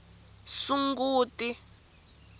sunguti